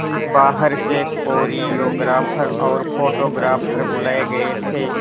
बाहर से कोरियोग्राफर और फोटोग्राफर बुलाए गए थे